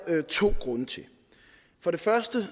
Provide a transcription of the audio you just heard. to grunde til for det første